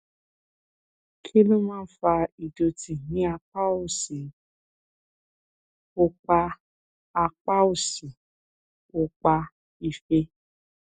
kí ló máa ń fa ìdòtí ní apá òsì òpá apá òsì òpá ìfé